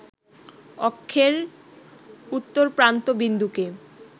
অক্ষের উত্তরপ্রান্ত বিন্দুকে